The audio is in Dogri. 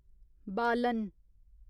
बालन